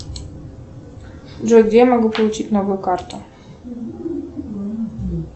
джой где я могу получить новую карту